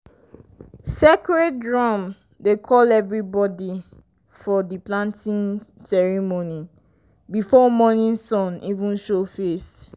sacred drum dey call everybody for di planting ceremony before morning sun even show face.